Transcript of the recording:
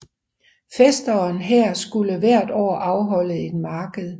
Fæsteren her skulle hvert år afholde et marked